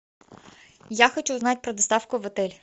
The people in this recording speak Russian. я хочу знать про доставку в отель